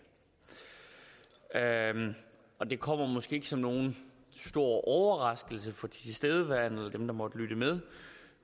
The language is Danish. af og det kommer måske ikke som nogen stor overraskelse for de tilstedeværende og dem der måtte lytte med